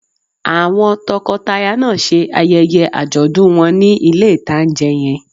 Àwọn tọkọtaya náà ṣe ayẹyẹ àjọ̀dún wọn ní ilé-ìtánjẹ yẹn